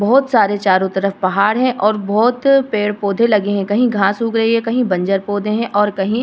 बहोत सारे चारों तरफ पहाड़ हैं और बहोत पेड़-पौधे लगे हैं। कहीं घास उग गई है। कहीं बंजर पौधे हैं और कहीं --